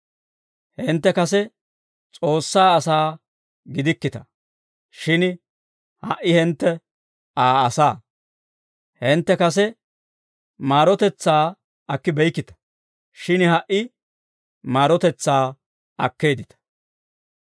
Hintte kase S'oossaa asaa gidikkita; shin ha"i hintte Aa asaa; hintte kase maarotetsaa akkibeykkita; shin ha"i maarotetsaa akkeeddita.